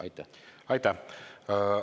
Aitäh!